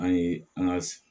An ye an ka